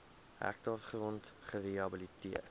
hektaar grond gerehabiliteer